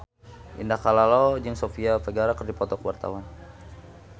Indah Kalalo jeung Sofia Vergara keur dipoto ku wartawan